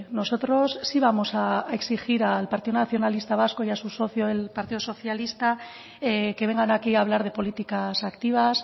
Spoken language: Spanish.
nosotros sí vamos a exigir al partido nacionalista vasco y a su socio el partido socialista que vengan aquí a hablar de políticas activas